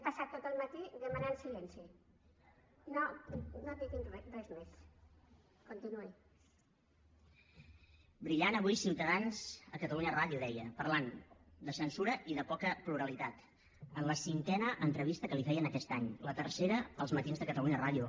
brillant avui ciutadans a catalunya ràdio deia parlant de censura i de poca pluralitat en la cinquena entrevista que li feien aquest any la tercera a el matíde catalunya ràdio